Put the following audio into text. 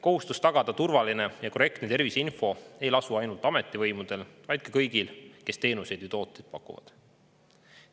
Kohustus tagada turvaline ja korrektne terviseinfo ei lasu ainult ametivõimudel, vaid kõigil, kes teenuseid ja tooteid pakuvad.